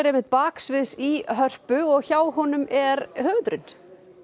baksviðs í Hörpu og hjá honum er höfundurinn